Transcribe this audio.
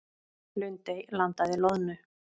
Lundey landaði loðnu